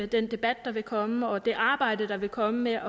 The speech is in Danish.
den debat der vil komme og det arbejde der vil komme med